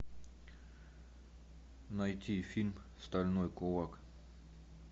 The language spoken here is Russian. найти фильм стальной кулак